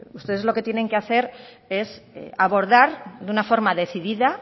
ustedes los que tienen que hacer es abordar de una forma decidida